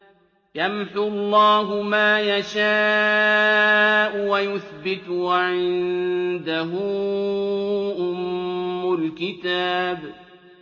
يَمْحُو اللَّهُ مَا يَشَاءُ وَيُثْبِتُ ۖ وَعِندَهُ أُمُّ الْكِتَابِ